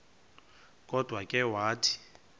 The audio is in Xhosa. kodwa ke wathi